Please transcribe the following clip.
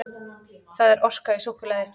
Það er orka í súkkulaði.